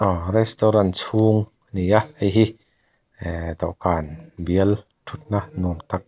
restaurant chhung a ni a hei hi ehh dawhkan bial thutna nuam tak--